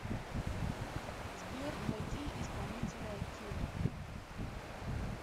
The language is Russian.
сбер найди исполнителя кила